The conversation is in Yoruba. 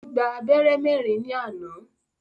Ó gbá abẹ́rẹ́ mẹ́rin ní àná.